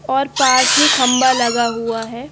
और पास ही खम्बा लगा हुआ है।